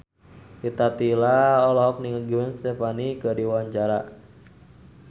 Rita Tila olohok ningali Gwen Stefani keur diwawancara